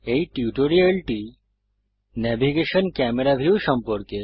এই টিউটোরিয়ালটি navigation camera view সম্পর্কে